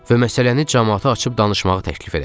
Və məsələni camaata açıb danışmağı təklif elədim.